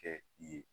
Kɛ i ye